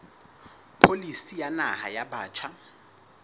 pholisi ya naha ya batjha